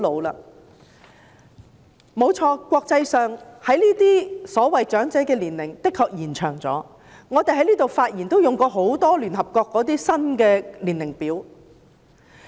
誠然，國際上所謂長者的年齡的確延後了，我們在立法會發言時亦經常引用聯合國的新年齡表。